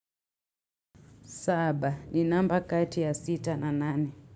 Saba ni namba kati ya sita na nane.